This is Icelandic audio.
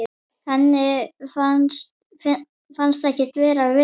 Henni fannst ekkert vera vesen.